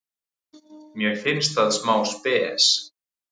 Mér finnst það smá spes.